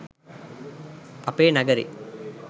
අපේ නගරෙ